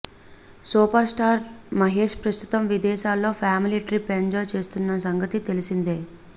superstar Mahesh ప్రస్తుతం విదేశాల్లో family trip enjoy చేస్తున్న సంగతి తెలిసిందే